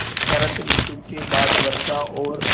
शरत ॠतु के बाद वर्षा और